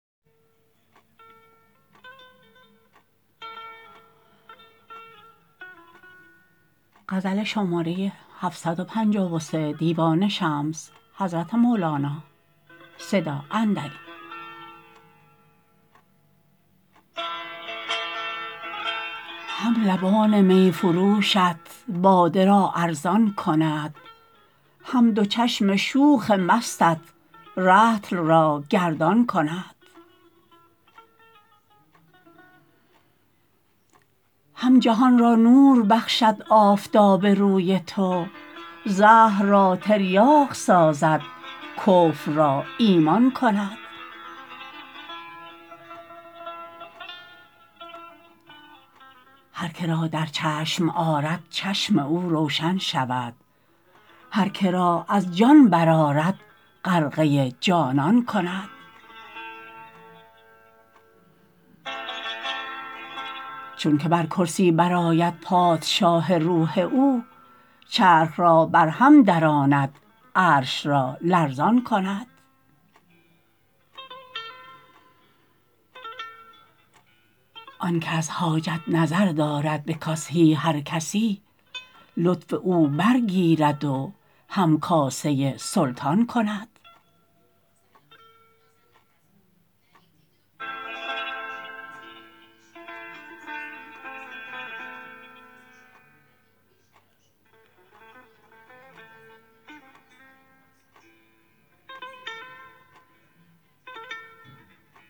هم لبان می فروشت باده را ارزان کند هم دو چشم شوخ مستت رطل را گردان کند هم جهان را نور بخشد آفتاب روی تو زهر را تریاق سازد کفر را ایمان کند هر که را در چشم آرد چشم او روشن شود هر که را از جان برآرد غرقه جانان کند چونک بر کرسی برآید پادشاه روح او چرخ را برهم دراند عرش را لرزان کند آنک از حاجت نظر دارد به کاسه هر کسی لطف او برگیرد و همکاسه سلطان کند